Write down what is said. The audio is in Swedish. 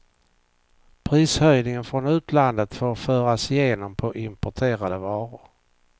Prishöjningar från utlandet får föras igenom på importerade varor.